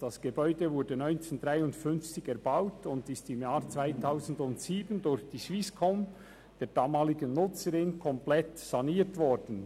Das Gebäude wurde 1953 erbaut und ist im Jahr 2007 durch die Swisscom, die damalige Nutzerin, komplett saniert worden.